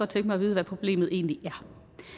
tænke mig at vide hvad problemet egentlig er